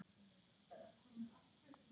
Hann vonar ekki.